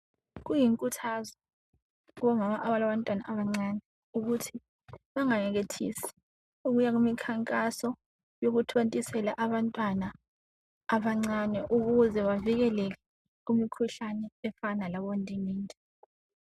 Kuyinkuthazo kubomama abalabantwana abancane uthi bengayekethise ukuya kumikhankaso yokuthontisela abantwana abancane ukuze bavilekele kumikhuhlane efana labondingindi